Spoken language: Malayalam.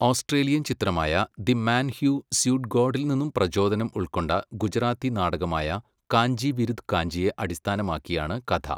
ഓസ്ട്രേലിയൻ ചിത്രമായ ദി മാൻ ഹൂ സ്യൂഡ് ഗോഡിൽ നിന്ന് പ്രചോദനം ഉൾക്കൊണ്ട ഗുജറാത്തി നാടകമായ കാഞ്ചി വിരുധ് കാഞ്ചിയെ അടിസ്ഥാനമാക്കിയാണ് കഥ.